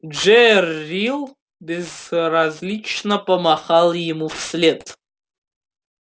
джерилл безразлично помахал ему вслед